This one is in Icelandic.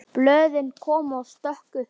Blöðin koma stök upp.